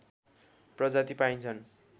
प्रजाति पाइन्छन्